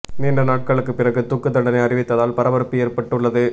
நீண்ட நாட்களுக்கு பிறகு தூக்கு தண்டனை அறிவித்ததால் பரபரப்பு ஏற்பட்டு உள்ளது